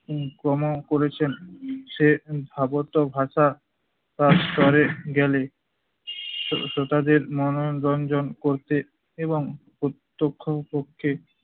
উম প্রম করেছেন, সে ধাবত ভাষার তোরে গেলে শ্রোতাদের মনোরঞ্জন করতে এবং প্রত্যক্ষ পক্ষে